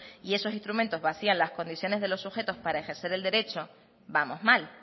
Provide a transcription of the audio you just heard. y eso instrumentos vacían las condiciones de los sujetos para ejercer el derecho vamos mal